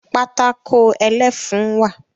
Pátákó ẹlẹ́fun wà